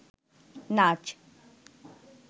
নাচ